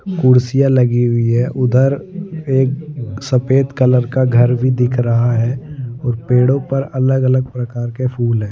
कुर्सियां लगी हुई है उधर एक सफेद कलर का घर भी दिख रहा है और पेड़ों पर अलग अलग प्रकार के फूल हैं।